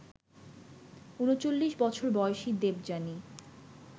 ৩৯ বছর বয়সী দেবযানী